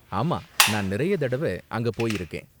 ஆமா, நான் நிறைய தடவ அங்க போயிருக்கேன்.